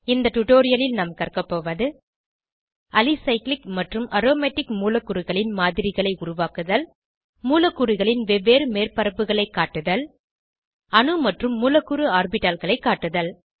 இந்த டுடோரியலில் நாம் கற்கபோவது அலிசைக்ளிக் மற்றும் அரோமேடிக் மூலக்கூறுகளின் மாதிரிகளை உருவாக்குதல் மூலக்கூறுகளின் வெவ்வேறு மேற்பரப்புகளை காட்டுதல் அணு மற்றும் மூலக்கூறு ஆர்பிட்டால்களை காட்டுதல்